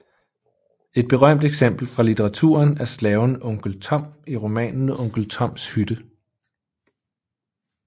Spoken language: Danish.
Et berømt eksempel fra litteraturen er slaven onkel Tom i romanen Onkel Toms Hytte